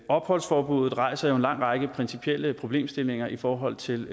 opholdsforbuddet rejser jo en lang række principielle problemstillinger i forhold til